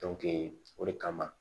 o de kama